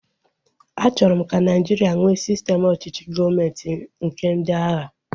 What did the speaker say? A chọrọ m ka Nigeria nwee sistem ọchịchị gọọmenti nke ndị agha